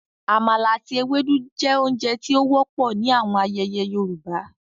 Àmala ati éwédu je ounje ti o wọpọ ni awọn ayẹyẹ Yorùbá